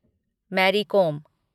Mary Kom